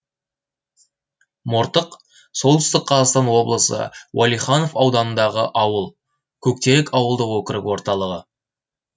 мортық солтүстік қазақстан облысы уәлиханов ауданындағы ауыл көктерек ауылдық округі орталығы